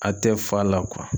A tɛ fa la